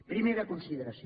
primera consideració